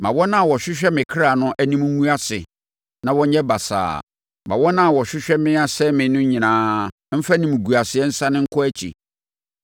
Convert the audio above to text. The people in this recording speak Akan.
Ma wɔn a wɔhwehwɛ me kra no anim ngu ase na wɔnyɛ basaa; ma wɔn a wɔhwehwɛ me sɛeɛ no nyinaa mfa animguaseɛ nsane wɔn akyi.